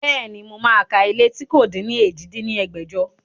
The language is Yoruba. Bẹ́ẹ̀ni, mo máa ka ilé tí kò din ní èjì dín ní ẹgbẹ́jọ